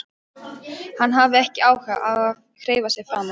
Hann hafði ekki áhuga á að hreyfa sig framar.